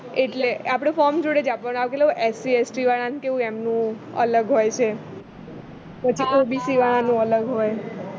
એટલે આપણે form જોડે જ આપવાનું આ પેલું કેવું SCST વાળને કેવું એમનું અલગ હોય છે પછી OBC વાળા નું અલગ હોય